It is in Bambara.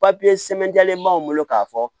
papiye sɛbɛn b'anw bolo k'a fɔ